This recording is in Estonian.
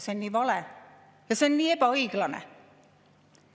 See on nii vale ja see on nii ebaõiglane.